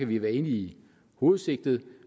vi være enige i hovedsigtet